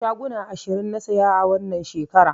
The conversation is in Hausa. Shaguna ashirin na saya wannan shekaran